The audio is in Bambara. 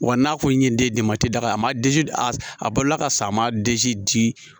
Wa n'a ko n ye denba tɛ daga a ma d a balola ka sa a ma di